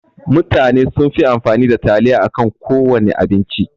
Mutane sunfi amfani da taliya akan kowana abinci.